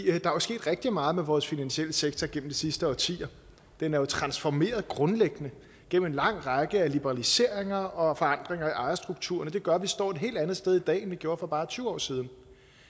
er jo sket rigtig meget med vores finansielle sektor gennem de sidste årtier den er jo transformeret grundlæggende gennem en lang række af liberaliseringer og forandringer i ejerstrukturen og det gør at vi står et helt andet sted i dag end vi gjorde for bare tyve år siden